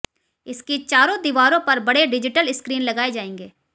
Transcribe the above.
इसकी चारों दिवारों पर बड़े डिजिटल स्क्रीन लगाएं जाएंगे